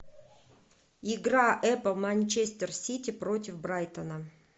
игра апл манчестер сити против брайтона